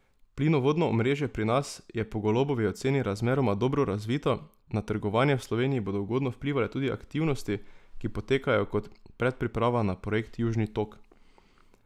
Plinovodno omrežje pri nas je po Golobovi oceni razmeroma dobro razvito, na trgovanje v Sloveniji bodo ugodno vplivale tudi aktivnosti, ki potekajo kot predpriprava na projekt Južni tok.